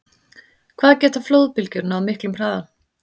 Hvað geta flóðbylgjur náð miklum hraða?